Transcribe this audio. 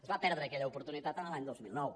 es va perdre aquella oportunitat l’any dos mil nou